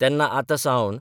तेन्ना आतां सावन